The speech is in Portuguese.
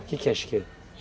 O que que é chiqueiro?